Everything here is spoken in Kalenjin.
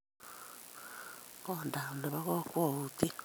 koindap ne po kakwautyet .